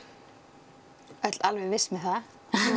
öll alveg viss með það